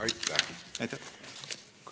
Aitäh!